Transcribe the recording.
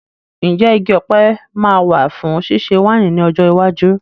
Ǹjẹ́ igi ọ̀pẹ sì máa wà fún ṣíṣe wáìnì ní ọjọ́ iwájú?